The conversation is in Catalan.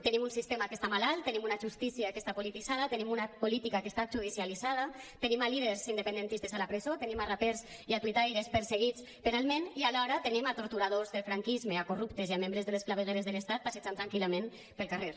tenim un sistema que està malalt tenim una justícia que està polititzada tenim una política que està judicialitzada tenim líders independentistes a la presó tenim rapers i tuitaires perseguits penalment i alhora tenim torturadors del franquisme corruptes i membres de les clavegueres de l’estat passejant tranquil·lament pel carrer